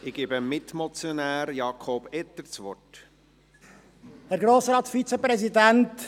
Ich gebe dem Mitmotionär, Jakob Etter, das Wort.